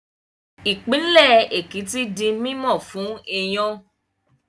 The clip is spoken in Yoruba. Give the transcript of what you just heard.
Ìpínlẹ̀ Èkìtì di mímọ̀ fún iyán